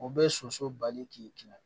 O bɛ soso bali k'i kunna